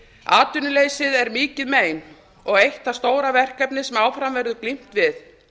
atvinnuleysið er mikið mein og eitt af því stóra verkefni sem áfram verður glímt við